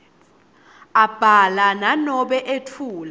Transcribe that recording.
abhala nanobe etfula